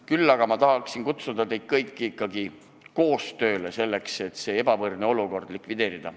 Kutsun aga teid kõiki ikkagi koostööle selleks, et see ebavõrdne olukord likvideerida.